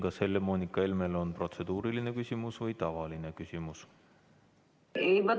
Kas Helle-Moonika Helmel on protseduuriline küsimus või tavaline küsimus?